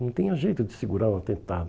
Não tinha jeito de segurar um atentado.